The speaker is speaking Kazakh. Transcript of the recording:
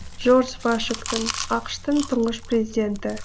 джордж вашингтон ақш тың тұңғыш президенті